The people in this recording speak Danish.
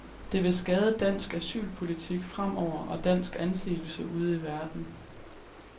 Det vil skade dansk asylpolitik fremover og dansk anseelse ude i verden.